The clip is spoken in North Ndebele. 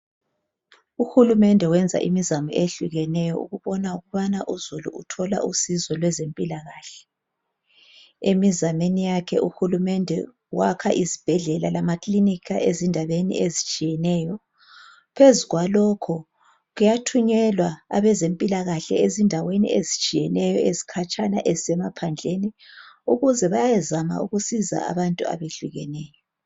ukulumende wenza imizamo ehlukeneyo ukubona ukubana uzulu uthola usizo lwezempilakahle emiameni yakhe uhulumende wakha izibhedlela lamakilinika ezindaweni ezitshiyeneyo phezu kwalokho kuyathunyelwa abezempilakahle ezindaweni ezitshiyeneyo ezigabeni ezikhatshena ezisemaphandleni ukuze bayezama ukusiza abantu abayehlukeneyo